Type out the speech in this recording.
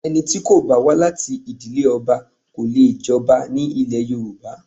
Ẹni tí kò bá wá láti ìdílé ọba kò lè jọba ní ilẹ̀ Yorùbá